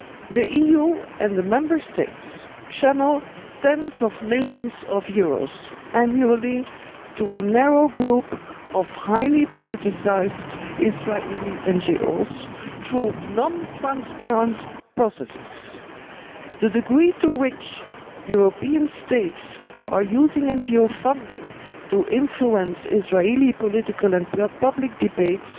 The EU and the Member States channel tens of millions of euros annually to a narrow group of highly politicised Israeli NGOs through non transparent processes. The degree to which European States are using NGO funding to influence Israeli political and public debates